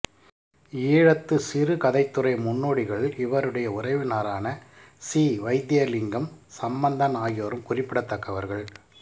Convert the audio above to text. ஈழத்து சிறுகதைத்துறை முன்னோடிகளுள் இவருடைய உறவினரான சி வயித்திலிங்கம் சம்பந்தன் ஆகியோரும் குறிப்பிடத்தக்கவர்கள்